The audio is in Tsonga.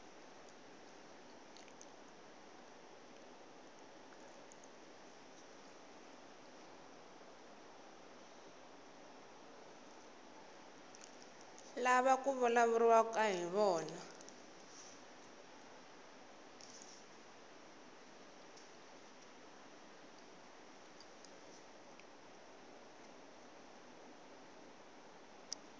lava ku vulavuriwaka hi vona